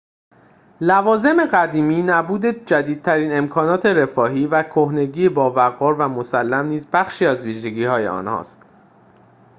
لوازم قدیمی نبود جدیدترین امکانات رفاهی و کهنگی باوقار و مسلم نیز بخشی از ویژگی‌های آنهاست